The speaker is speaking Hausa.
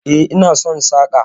E, ina son saƙa.